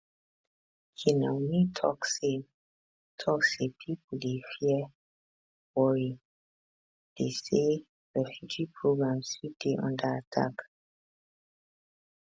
kinuani tok say tok say pipo dey fear worry dey say refugee programmes fit dey under attack